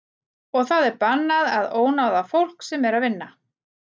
Og það er bannað að ónáða fólk sem er að vinna.